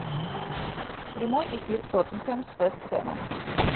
прямой эфир тоттенхэм с вест хэмом